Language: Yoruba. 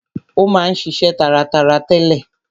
Ó ma ń ṣiṣe taratara tẹ́lẹ̀.